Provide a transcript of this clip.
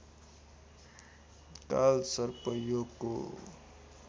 कालसर्प योगको